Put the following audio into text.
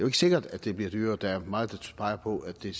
ikke sikkert at det bliver dyrere der er meget der peger på at det